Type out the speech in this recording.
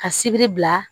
Ka sibiri bila